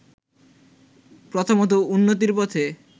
প্রথমতঃ উন্নতির পথে